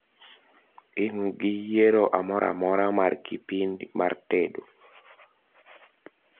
Ingi yiero amoramora mar kipin mar tendo?